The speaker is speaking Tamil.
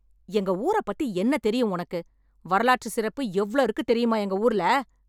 எங்க ஊரப் பத்தி என்னத் தெரியும் உனக்கு? வரலாற்று சிறப்பு எவ்ளோ இருக்குத் தெரியுமா எங்க ஊர்ல?